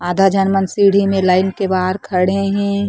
आधा झन मन सीड़ी मे लाइन के बहार खड़े है।